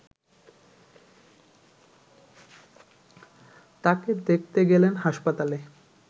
তাকে দেখতে গেলেন হাসপাতালে